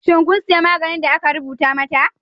Shin kun sayi maganin da aka rubuta mata?